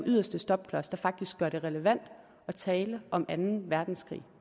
yderste stopklods der faktisk gør det relevant at tale om anden verdenskrig